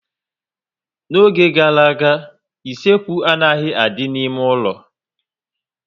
N'oge gara aga, isekwu anaghị adị n'ime ụlọ